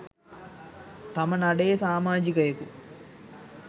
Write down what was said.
තම නඩයේ සාමාජිකයකු